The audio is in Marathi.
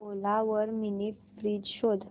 ओला वर मिनी फ्रीज शोध